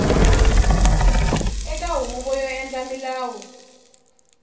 eka huvo yo endla milawu